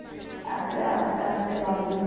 তারপরে আস্তে আসতে বাবু